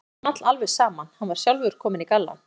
Það small alveg saman, hann var sjálfur kominn í gallann.